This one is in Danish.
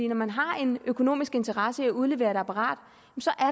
når man har en økonomisk interesse i at udlevere et apparat